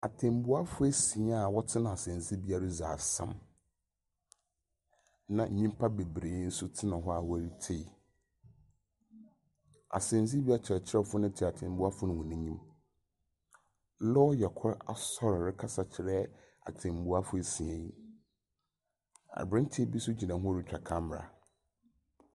Atɛnbuafo esia a wɔtsena asɛndzibea reddzi asɛm, na ntimpa beberee nso tsena hɔ a wɔretsei. Asɛndzibea kyerɛkyerɛfo no tse atenbuafo no hɔn enyim. Lɔya kor asoer rekasa kyera atenbuafo esia yi. Aberantsɛ bi nso gyina hɔ retwa camera.